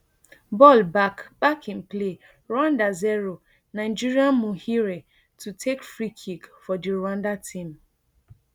ball back back in play rwanda zero nigeria muhire to takefree kick fordi rwanda team